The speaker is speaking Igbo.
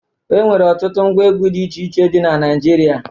E nwere ọtụtụ ngwa egwu dị iche iche dị na Naịjirịa.